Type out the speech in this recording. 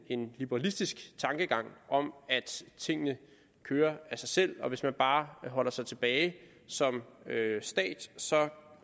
en liberalistisk tankegang om at tingene kører af sig selv og hvis man bare holder sig tilbage som stat